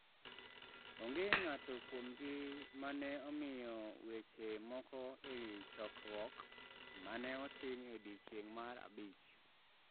Onge ng’ato kuomgi ma ne omiyo weche moko e wi chokruok ma ne otim e odiechieng’ mar abich.